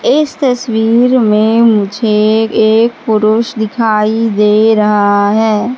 इस तस्वीर में मुझे एक पुरुष दिखाई दे रहा है।